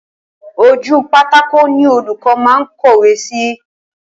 Ojú pátákó ni olúkọ́ máa ń kọ́wé si